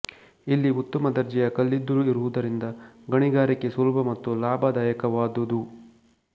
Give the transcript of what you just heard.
ಇಲ್ಲಿ ಉತ್ತಮ ದರ್ಜೆಯ ಕಲ್ಲಿದ್ದಲು ಇರುವುದರಿಂದ ಗಣಿಗಾರಿಕೆ ಸುಲಭ ಮತ್ತು ಲಾಭದಾಯಕವಾದುದು